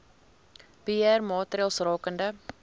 beheer maatreëls rakende